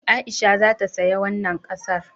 Aisha za ta saya wannan ƙasar